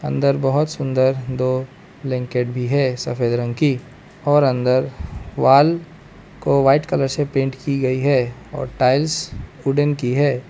अंदर बहोत सुंदर दो ब्लैंकेट भी है सफेद रंग की और अंदर वॉल को व्हाइट कलर से पेंट की गई है और टाइल्स वुडन की है।